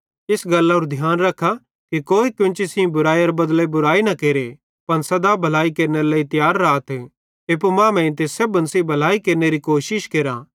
इस गल्लारू ध्यान रख्खा कि कोई कोन्ची सेइं बुरीयीयैरे बदले बुराई न केरे पन सदा भलाई केरनेरे लेइ तियार राथ एप्पू मांमेइं ते सेब्भन सेइं भी भलाई केरनेरी कोशिश केरा